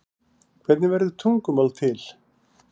hvernig verður tungumál til